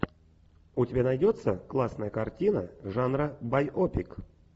у тебя найдется классная картина жанра байопик